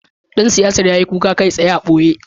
Dan siyasar ya yi kuka kai tsaye a ɓoye